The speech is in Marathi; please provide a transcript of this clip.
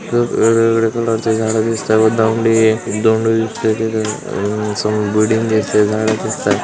वेगवेगळ्या कलर चे झाड दिसताय व लांबडी डोंगर दिसतय. तिथ समोर बिल्डिंग दिसतय. झाड दिसतायत--